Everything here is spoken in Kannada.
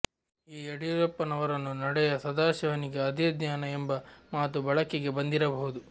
ಈ ಯಡಿಯೂರಪ್ಪನವರನ್ನು ನಡೆಯ ಸದಾಶಿವನಿಗೆ ಅದೇ ಧ್ಯಾನ ಎಂಬ ಮಾತು ಬಳಿಕೆಗೆ ಬಂದಿರಬಹುದು